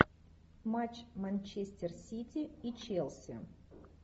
матч манчестер сити и челси